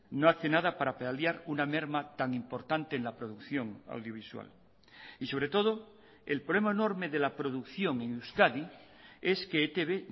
no hace nada para paliar una merma tan importante en la producción audiovisual y sobre todo el problema enorme de la producción en euskadi es que etb